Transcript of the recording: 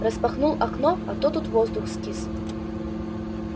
распахнул окно а то тут воздух скис